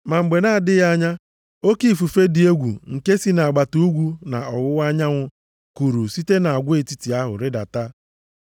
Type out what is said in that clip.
Ma mgbe na-adịghị anya, oke ifufe dị egwu nke si nʼagbata ugwu na ọwụwa anyanwụ kuru site nʼagwa etiti ahụ rịdata.